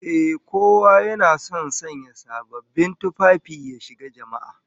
Ehh, kowa yana son sanya sababbin tufafi ya shiga jama'a